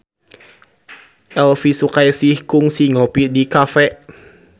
Elvy Sukaesih kungsi ngopi di cafe